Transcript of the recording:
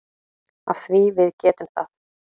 Af því að við getum það.